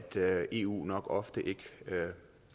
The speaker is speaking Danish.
eu nok ofte ikke